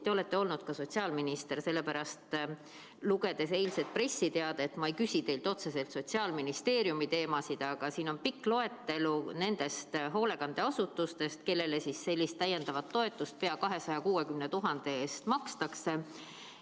Te olete olnud ka sotsiaalminister, sellepärast, lugedes eilset pressiteadet, ma ei küsi teilt otseselt Sotsiaalministeeriumi teemasid, aga siin on pikk loetelu nendest hoolekandeasutustest, kellele sellist täiendavat toetust pea 260 000 eest makstakse.